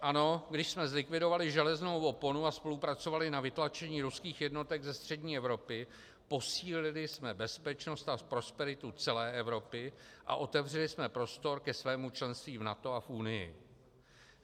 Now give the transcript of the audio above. Ano, když jsme zlikvidovali železnou oponu a spolupracovali na vytlačení ruských jednotek ze střední Evropy, posílili jsme bezpečnost a prosperitu celé Evropy a otevřeli jsme prostor ke svému členství v NATO a v Unii.